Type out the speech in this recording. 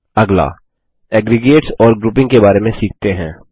अगला एग्रीगेट्स और ग्रुपिंग के बारे में सीखते हैं